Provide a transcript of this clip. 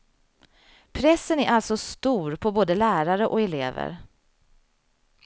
Pressen är alltså stor på både lärare och elever.